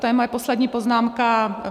To je moje poslední poznámka.